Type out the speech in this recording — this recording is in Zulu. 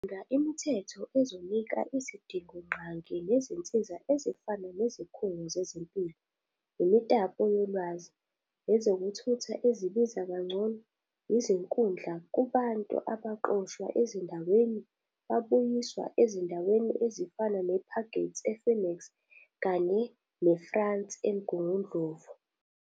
Sidinga imithetho ezonika izidingo nqangi nezinsiza ezifana nezikhungo zezempilo, imitapo yolwazi, ezokuthutha ezibiza kangcono izinkundla kubantu abaxoshwa ezindaweni bayiswa ezindaweni ezifana ne Parkgate ePhoenix kanye neFrance eMgundundlovu.